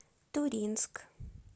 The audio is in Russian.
туринск